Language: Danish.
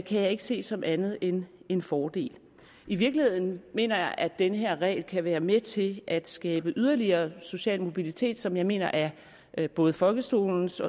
jeg ikke se som andet end en fordel i virkeligheden mener jeg at den her regel kan være med til at skabe yderligere social mobilitet noget som jeg mener er er både folkeskolens